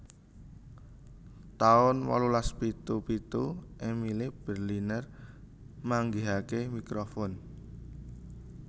taun wolulas pitu pitu Emile Berliner manggihaken mikrofon